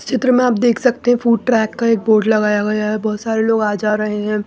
इस चित्र में आप देख सकते हैं फूड ट्रैक का एक बोर्ड लगाया गया है बहुत सारे लोग आ जा रहे हैं।